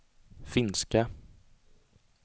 finska